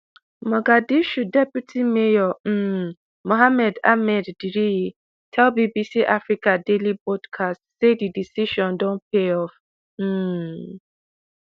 mogadishu deputy mayor um mohamed ahmed diriye tell bbc africa daily podcast say di decision don pay off um